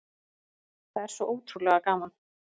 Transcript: Það er svo ótrúlega gaman